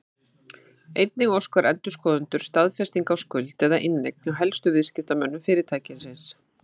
Einnig óska endurskoðendur staðfestinga á skuld eða inneign hjá helstu viðskiptamönnum fyrirtækisins.